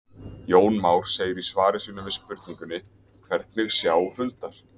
Jón Már segir í svari sínu við spurningunni Hvernig sjá hundar?